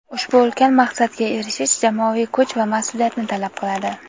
ushbu ulkan maqsadga erishish jamoaviy kuch va mas’uliyatni talab qiladi.